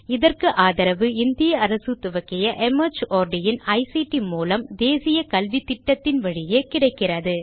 இதற்கு ஆதரவு இந்திய அரசு துவக்கிய மார்ட் இன் ஐசிடி மூலம் தேசிய கல்வித்திட்டத்தின் வழியே கிடைக்கிறது